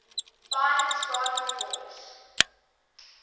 fine soprano voice